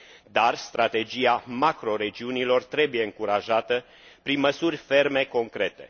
Dar strategia macroregiunilor trebuie încurajată prin măsuri ferme concrete.